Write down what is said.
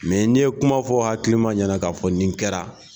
Mɛ ne ye kumafɔ hakili ma ɲɛna ka fɔ nin kɛra